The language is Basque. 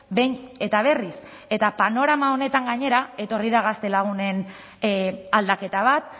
behin eta berriz eta panorama honetan gainera etorri da gazte lagunen aldaketa bat